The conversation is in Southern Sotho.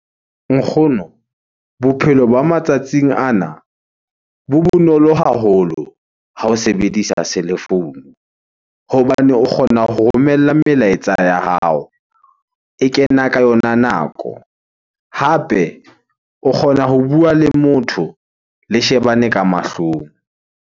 Nkgono, bophelo ba matsatsing ana bo bonolo haholo ha o sebedisa cellphone hobane o kgona ho romella le melaetsa ya hao. E kena ka yona nako, hape o kgona ho bua le motho le shebane ka mahlong.